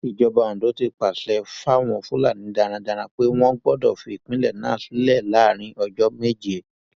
ìjọba ondo ti pàṣẹ fáwọn fúlàní darandaran pé wọn gbọdọ fi ìpínlẹ náà sílẹ láàrin ọjọ méje